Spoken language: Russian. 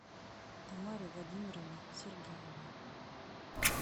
тамаре владимировне сергеевой